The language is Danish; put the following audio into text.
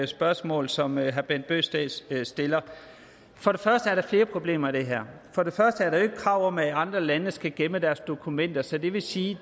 spørgsmål som herre bent bøgsted stiller for der er flere problemer i det her for det første er der jo ikke krav om at andre lande skal gemme deres dokumenter så det vil sige